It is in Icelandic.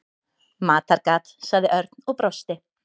Matargat sagði Örn og brosti.